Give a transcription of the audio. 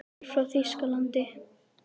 Ég er frá Þýskalandi.